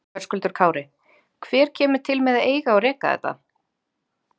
Höskuldur Kári: Hver kemur til með að eiga og reka þetta?